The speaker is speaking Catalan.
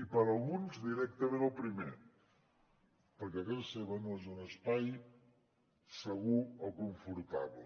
i per a alguns directament el primer perquè casa seva no és un espai segur o confortable